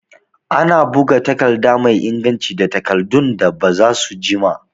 Ana buga takarda mai inganci da takardun da bazasu jima